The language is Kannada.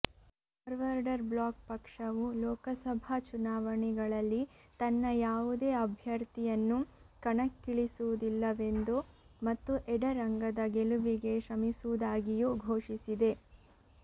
ಫಾರ್ವಡರ್್ ಬ್ಲಾಕ್ ಪಕ್ಷವು ಲೋಕಸಭಾ ಚುನಾವಣೆಗಳಲ್ಲಿ ತನ್ನ ಯಾವುದೇ ಅಭ್ಯಥರ್ಿಯನ್ನು ಕಣಕ್ಕಿಳಿಸುವುದಿಲ್ಲವೆಂದೂ ಮತ್ತು ಎಡ ರಂಗದ ಗೆಲುವಿಗೆ ಶ್ರಮಿಸುವುದಾಗಿಯೂ ಘೋಷಿಸಿದೆ